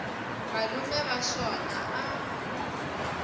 malume wa xona a a